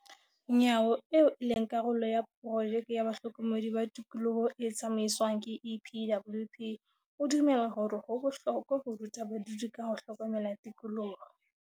Nyawo, eo e leng karolo ya porojeke ya bahlokomedi ba tikoloho e tsamaiswang ke EPWP, o dumela hore ho bohlokwa ho ruta badudi ka ho hlokomela tikoloho.